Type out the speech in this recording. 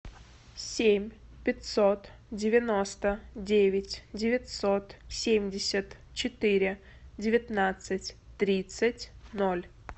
семь пятьсот девяносто девять девятьсот семьдесят четыре девятнадцать тридцать ноль